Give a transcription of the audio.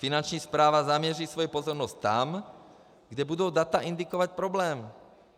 Finanční správa zaměří svou pozornost tam, kde budou data indikovat problém.